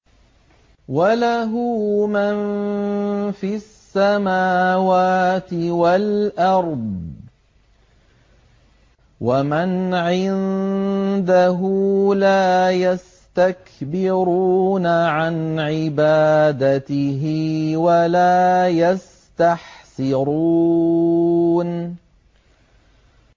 وَلَهُ مَن فِي السَّمَاوَاتِ وَالْأَرْضِ ۚ وَمَنْ عِندَهُ لَا يَسْتَكْبِرُونَ عَنْ عِبَادَتِهِ وَلَا يَسْتَحْسِرُونَ